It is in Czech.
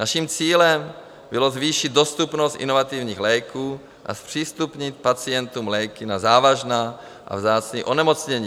Naším cílem bylo zvýšit dostupnost inovativních léků a zpřístupnit pacientům léky na závažná a vzácná onemocnění.